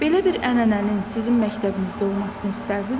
Belə bir ənənənin sizin məktəbinizdə olmasını istərdinmi?